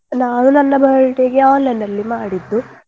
ನಾನು ನನ್ನ birthday ಗೆ online ನಲ್ಲಿ ಮಾಡಿದ್ದು.